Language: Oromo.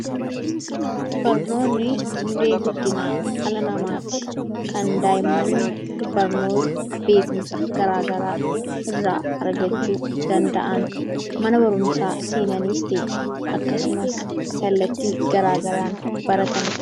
Barnoonni hundee guddinaa dhala namaati. Kan daa'imman barnoota gara garaa irraa argachuu danda’an. Mana barumsaa seenaniis ta'e akkasumas kallattii gara garaan baratanidha.